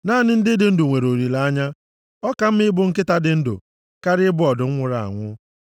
Naanị ndị dị ndụ nwere olileanya. Ọ ka mma ịbụ nkịta dị ndụ karịa ịbụ ọdụm nwụrụ anwụ.